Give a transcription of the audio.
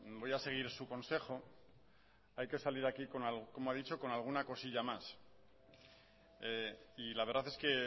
voy a seguir su consejo hay que salir aquí como ha dicho con alguna cosilla más y la verdad es que